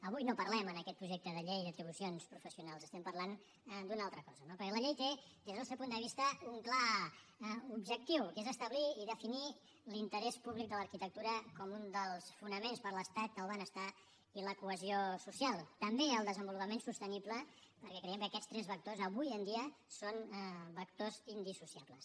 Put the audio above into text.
avui no parlem en aquest projecte de llei d’atribucions professionals estem parlant d’una altra cosa no perquè la llei té des del nostre punt de vista un clar objectiu que és establir i definir l’interès públic de l’arquitectura com un dels fonaments per a l’estat del benestar i la cohesió social també el desenvolupament sostenible perquè creiem que aquests tres vectors avui en dia són vectors indissociables